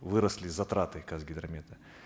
выросли затраты казгидромета